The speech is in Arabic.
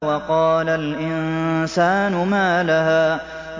وَقَالَ الْإِنسَانُ مَا لَهَا